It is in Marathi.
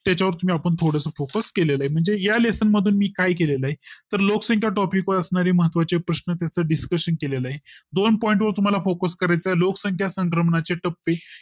त्याच्या वर तुम्ही आपण थोडे Focus केले आहे म्हणजे या Lessson मधून मी काय केले ला आहे तर लोकसंख्या Topic असणारी महत्त्वाचे प्रश्न तिथे Discussion केले आहे दोन point तुम्हाला focus करायचा लोकसंख्या संक्रमणाचे टप्पे